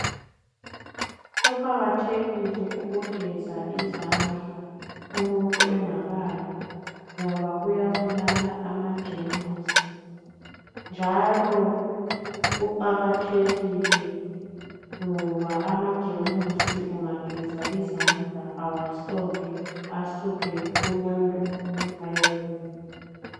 Kuqakathekile ukugeza izandla umuntu engakadli ngoba kuyabulala amajemusi njalo kuqakathekile ngoba amajemusi ungageza izandla awasoke asuke kulowo umuntu aye komunye.